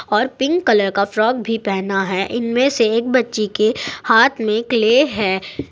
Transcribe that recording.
और pink colour का frock भी पहना है इनमें से एक बच्ची के हाथ में क्ले है।